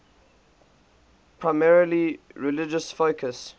primarily religious focus